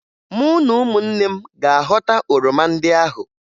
Mụ na ụmụnne m ga-aghọta oroma ndị ahụ